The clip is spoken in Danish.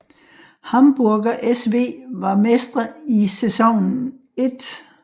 Hamburger SV var mestre i sæsonen 1